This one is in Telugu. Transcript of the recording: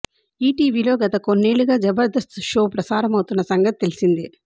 ఈటీవీ లో గత కొన్నేళ్లుగా జబర్దస్త్ షో ప్రసారమవుతున్న సంగతి తెలిసిందే